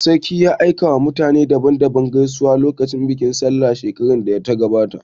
Sarkin ya aika wa mutane daban daban gaisuwa lokacin bikin sallah shekarar da ta gabata